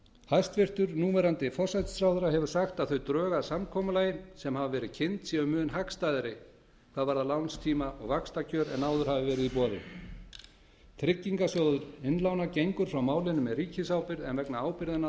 hæstvirtur núv forsætisráðherra hefur sagt að þau drög að samkomulagi sem hafa verið kynnt séu mun hagstæðari hvað varðar lánstíma og vaxtakjör en áður hafi verið í boði tryggingasjóður innlána gengur frá málinu með ríkisábyrgð en vegna ábyrgðanna